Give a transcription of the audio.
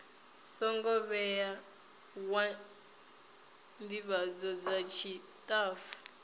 songo vhewa ndivhadzo dza tshitafu